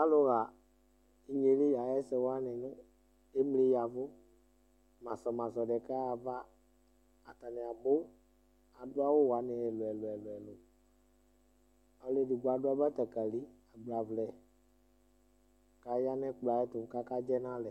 Alʋɣa inye yɛ li ayʋ ɛsɛ wanɩ nʋ emli ya ɛvʋ Masɔ masɔ dɩ kaɣa ayava Atanɩ abʋ, adʋ awʋ wanɩ ɛlʋ-ɛlʋ Ɔlʋ edigbo adʋ abatakalɩ agbavlɛ kʋ aya nʋ ɛkplɔ yɛ tʋ kʋ akadzɛ nʋ alɛ